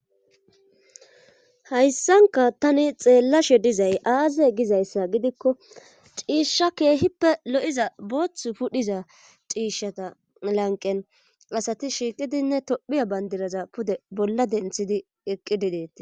Hayssanka tani xeellashe dizay aaze gizayssa gidikko ciishsha keehippe lo'iza boothth pudhiza ciishata lanqen asati shiiqidinne tophiya bandiraza pude bolla denthidi eqqi dideti.